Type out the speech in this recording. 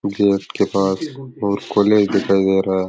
Gate के पास और कॉलेज दिखाई दे रहा है।